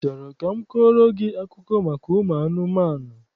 I chọrọ ka m kọọrọ gị akụkọ maka ụmụ anụmanụ?